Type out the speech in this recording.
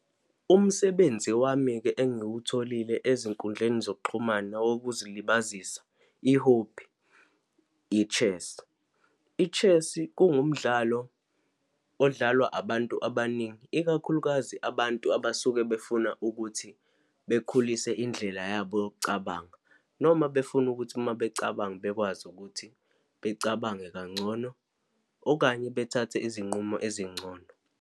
Umsebenzi wami-ke engiwutholile ezinkundleni zokuxhumana wokuzilibazisa, i-hobby, i-chess. I-chess kuwumdlalo odlalwa abantu abaningi, ikakhulukazi abantu abasuke befuna ukuthi bekhulise indlela yabo yokucabanga, noma befuna ukuthi uma becabanga, bekwazi ukuthi becabange kangcono, okanye bethathe izinqumo ezingcono.